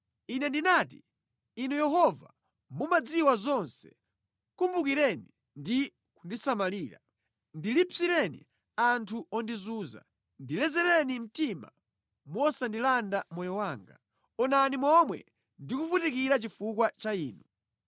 Ine ndinati, “Inu Yehova, mumadziwa zonse; kumbukireni ndi kundisamalira. Ndilipsireni anthu ondizunza. Ndilezereni mtima musandilande moyo wanga. Onani momwe ndi kuvutikira chifukwa cha Inu.